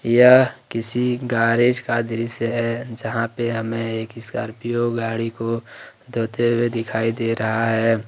यह किसी गैरेज का दृश्य है जहां पे हमें एक स्कॉर्पियो गाड़ी को धोते हुए दिखाई दे रहा है।